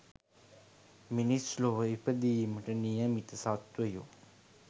මිනිස් ලොව ඉපදීමට නියමිත සත්වයො